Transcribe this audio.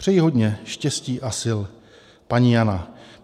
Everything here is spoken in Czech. Přeji hodně štěstí a sil. Paní Jana."